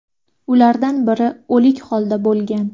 Ulardan biri o‘lik holda bo‘lgan.